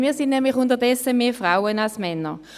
Wir sind unterdessen mehr Frauen als Männer.